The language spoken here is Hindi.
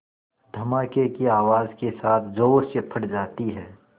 धमाके की आवाज़ के साथ ज़ोर से फट जाती है